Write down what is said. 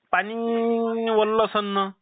पाणी वल्ल्ल आसन ना